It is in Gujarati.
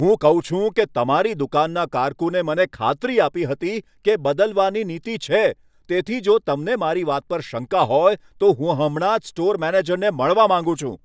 હું કહું છું કે, તમારી દુકાનના કારકુને મને ખાતરી આપી હતી કે બદલવાની નીતિ છે, તેથી જો તમને મારી વાત પર શંકા હોય, તો હું હમણાં જ સ્ટોર મેનેજરને મળવા માંગુ છું.